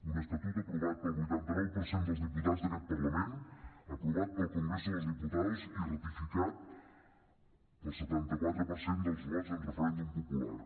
un estatut aprovat pel vuitanta nou per cent dels diputats d’aquest parlament aprovat pel congreso de los diputados i ratificat pel setanta quatre per cent dels vots en referèndum popular